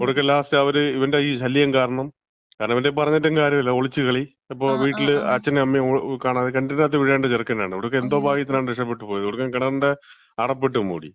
ഒടുക്കം ലാസ്റ്റ് അവര് ഇവന്‍റെ ഈ ശല്യം കാരണം, കാരണം ഇവന്‍റേല് പറഞ്ഞിട്ടും കാര്യല്യ. ഒളിച്ചുകളി, എപ്പോ വീട്ടില് അച്ഛനും അമ്മയും കാണാതെ, കിണറ്റീന്‍റാത്ത് വീഴേണ്ട ചെറുക്കനാണ്. ഒടുക്കം എന്തോ ഭാഗ്യത്തിനാണ് രക്ഷപ്പെട്ട് പോയത്. ഒടുക്കം കിണറിന്‍റെ അടപ്പ് ഇട്ട് മൂടി.